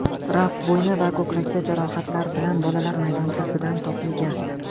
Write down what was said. Raf bo‘yni va ko‘kragida jarohatlar bilan bolalar maydonchasidan topilgan.